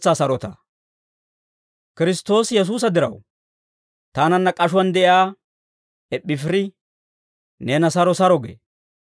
Kiristtoosi Yesuusa diraw, taananna k'ashuwaan de'iyaa Eppaafiri neena saro saro gee.